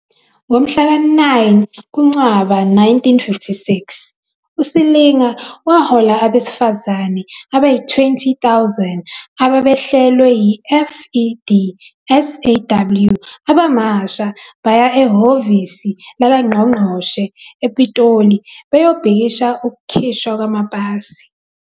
Ngomhla ka-9 kuNcwaba 1956, uSilinga wahola abesifazane abayi-20 000 ababehlelwe yi-FEDSAW abamasha baya ehhovisi lakangqongqoshe ePitoli beyobhikisha ukukhishwa kwamapasi.